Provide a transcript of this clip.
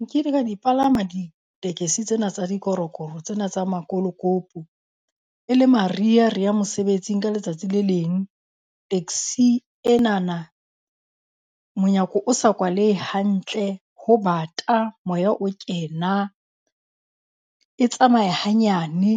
Nkile ka di palama ditekesi tsena tsa dikorokoro tsena tsa makolokopo e le mariha rea mosebetsing ka letsatsi le leng. Taxi enana monyako o sa kwalehe hantle, ho bata moya o kena, e tsamaye hanyane.